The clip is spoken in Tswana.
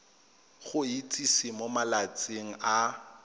go itsise mo malatsing a